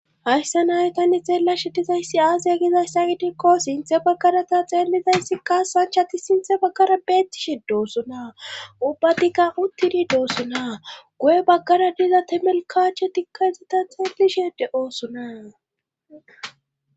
Hayssa naye tanne xeellashe dizayssi aaziya gizayssa gidikko sinthe baggarata xeellizayssikka sanchati sinthe baggara beettishe doosona ubbatikka uttidi doosona guye baggara diza temelkacho tikkaizeta xeelishede oosona